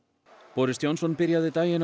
boris Johnson byrjaði daginn á